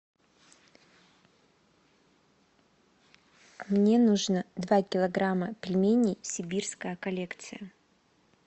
мне нужно два килограмма пельменей сибирская коллекция